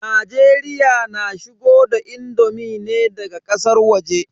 Najeriya na shigo da indomi ne daga ƙasar waje.